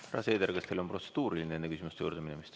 Härra Seeder, kas teil on protseduuriline küsimus?